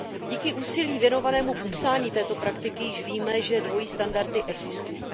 Díky úsilí věnovanému popsání této praktiky již víme, že dvojí standardy existují.